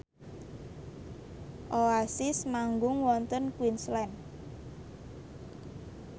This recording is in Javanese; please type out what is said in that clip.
Oasis manggung wonten Queensland